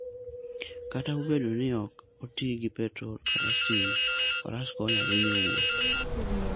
Kata obedo ni ok oti gi petrol kata stima, faras konyo ahinya e wuoth.